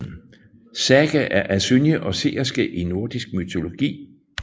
Saga er asynje og seerske i nordisk mytologi